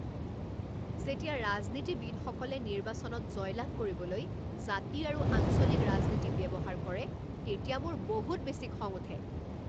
যেতিয়া ৰাজনীতিবিদসকলে নিৰ্বাচনত জয়লাভ কৰিবলৈ জাতি আৰু আঞ্চলিক ৰাজনীতি ব্যৱহাৰ কৰে তেতিয়া মোৰ বহুত বেছি খং উঠে।